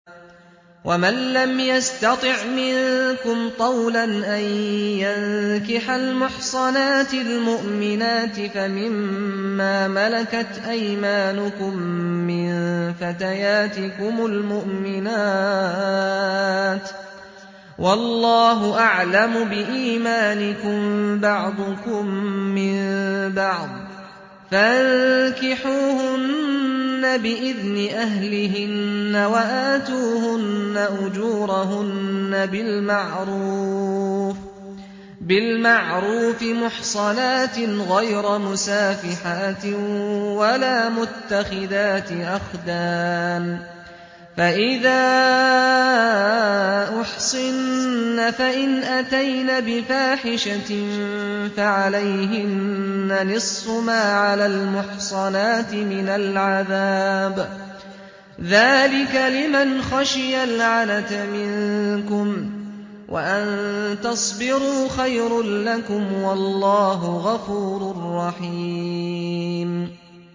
وَمَن لَّمْ يَسْتَطِعْ مِنكُمْ طَوْلًا أَن يَنكِحَ الْمُحْصَنَاتِ الْمُؤْمِنَاتِ فَمِن مَّا مَلَكَتْ أَيْمَانُكُم مِّن فَتَيَاتِكُمُ الْمُؤْمِنَاتِ ۚ وَاللَّهُ أَعْلَمُ بِإِيمَانِكُم ۚ بَعْضُكُم مِّن بَعْضٍ ۚ فَانكِحُوهُنَّ بِإِذْنِ أَهْلِهِنَّ وَآتُوهُنَّ أُجُورَهُنَّ بِالْمَعْرُوفِ مُحْصَنَاتٍ غَيْرَ مُسَافِحَاتٍ وَلَا مُتَّخِذَاتِ أَخْدَانٍ ۚ فَإِذَا أُحْصِنَّ فَإِنْ أَتَيْنَ بِفَاحِشَةٍ فَعَلَيْهِنَّ نِصْفُ مَا عَلَى الْمُحْصَنَاتِ مِنَ الْعَذَابِ ۚ ذَٰلِكَ لِمَنْ خَشِيَ الْعَنَتَ مِنكُمْ ۚ وَأَن تَصْبِرُوا خَيْرٌ لَّكُمْ ۗ وَاللَّهُ غَفُورٌ رَّحِيمٌ